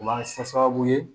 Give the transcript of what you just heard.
O b'a kɛ sababu ye